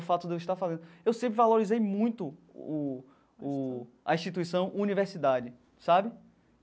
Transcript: O fato de eu estar fazendo... Eu sempre valorizei muito o o a instituição universidade, sabe?